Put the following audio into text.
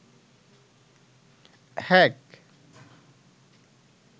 hack